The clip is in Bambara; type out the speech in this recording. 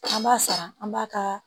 An b'a sara an b'a ka